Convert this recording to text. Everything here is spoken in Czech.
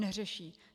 Neřeší.